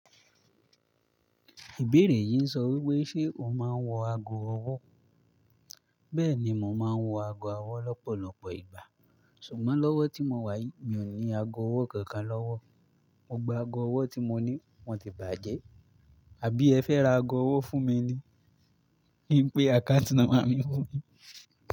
Ìbéèrè yìí ń sọ wípé, ṣe o máa ń wọ ago ọwọ́? Bẹ́ẹ̀ni, mo máa ń wọ ago ọwọ́ lọ́pọ̀lọpọ̀ ìgbà. Ṣùgbọ́n lọ́wọ́ tí mo wá yìí, mi ò ní ago ọwọ́ kankan lọ́wọ́. Mo gba ago ọwọ́ tí mo ní wọ́n ti bàjẹ́. Àbí ẹ fẹ́ ra ago ọwọ́ fún mi ni? Kí i pé account number mi fún yin.